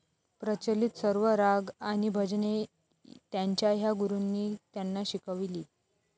प्रचलित सर्व राग आणि भजने त्यांच्या ह्या गुरूंनी त्यांना शिकविली.